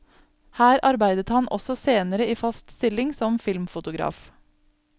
Her arbeidet han også senere i fast stilling som filmfotograf.